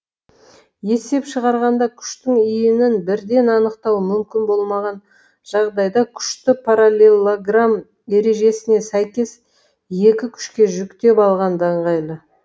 есеп шығарғанда күштің иінін бірден анықтау мүмкін болмаған жағдайда күшті параллелограмм ережесіне сәйкес екі күшке жіктеп алған да ыңғайлы